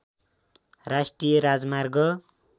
राष्ट्रिय राजमार्ग